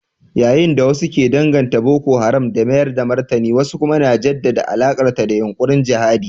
Yayin da wasu ke danganta Boko Haram da mayar da martani wasu kuma na jaddada alakarta da yunkurin jihadi.